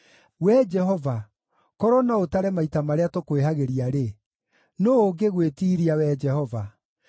Wee Jehova, korwo no ũtare maita marĩa tũkwĩhagĩria-rĩ, nũũ ũngĩgwĩtiiria, Wee Jehova?